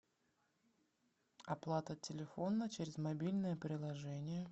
оплата телефона через мобильное приложение